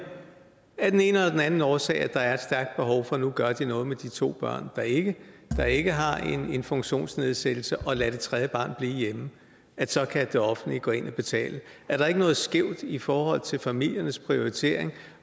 af den ene eller den anden årsag at der er et stærkt behov for nu gør noget med de to børn der ikke har ikke har en funktionsnedsættelse og lader det tredje barn blive hjemme så kan det offentlige gå ind og betale er der ikke noget skævt i forhold til familiernes prioritering